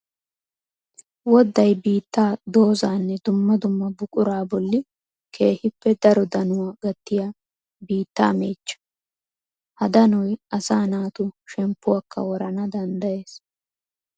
Wodday biitta, doozanne dumma dumma buqura bolli keehippe daro danuwa gattiya biitta meechcha. Ha danoy asaa naatu shemppuwakka woranna danddayes.